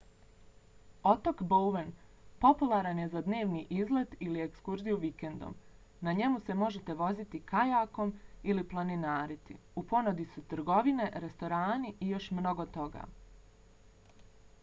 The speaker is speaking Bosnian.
otok bowen popularan je za dnevni izlet ili ekskurziju vikendom. na njemu se možete voziti kajakom ili planinariti. u ponudi su trgovine restorani i još mnogo toga